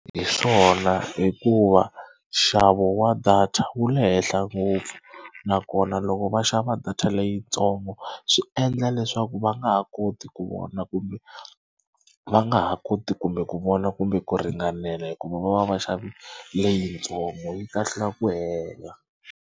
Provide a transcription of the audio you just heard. Hi swona hikuva nxavo wa data wu le henhla ngopfu nakona loko va xava data leyitsongo swi endla leswaku va nga ha koti ku vona kumbe va nga ha koti kumbe ku vona kumbe ku ringanela hikuva va va va xavi leyitsongo yi kahlula ku hela.